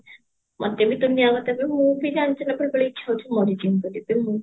ମୋତେ ବି ଦୁନିଆ ବତେଇବେ ମୁଁ ବି ଜାଣିଛୁନା ବେଳେ ବେଳେ ଇଛା ହଉଛି ମରିଯିମି ବୋଲି ତେଣୁ